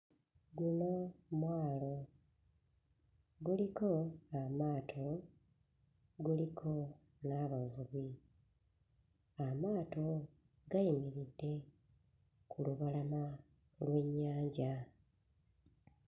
Guno mwalo guliko amaato, guliko n'abavubi. Amaato gayimiridde ku lubalama lw'ennyanja.